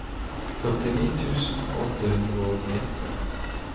førtini tusen åtte hundre og nitten